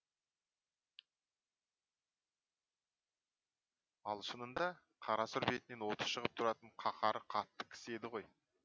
ал шынында қарасұр бетінен оты шығып тұратын қаһары қатты кісі еді ғой